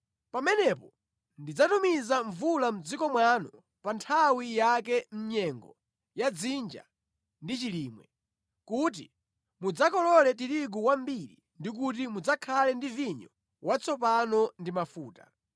pamenepo ndidzatumiza mvula mʼdziko mwanu pa nthawi yake mʼnyengo ya dzinja ndi chilimwe, kuti mudzakolole tirigu wambiri ndi kuti mudzakhale ndi vinyo watsopano ndi mafuta.